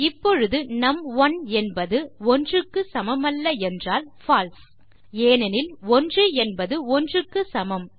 இப்பொழுது நும்1 என்பது 1க்கு சமமல்ல என்றால் பால்சே ஏனெனில் 1என்பது 1க்கு சமம்